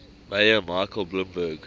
mayor michael bloomberg